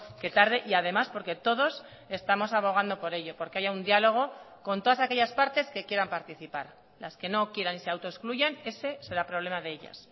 que tarde y además porque todos estamos abogando por ello porque haya un diálogo con todas aquellas partes que quieran participar las que no quieran y se autoexcluyan ese será problema de ellas